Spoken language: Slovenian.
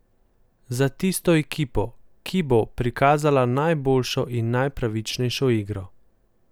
Za tisto ekipo, ki bo prikazala najboljšo in najpravičnejšo igro.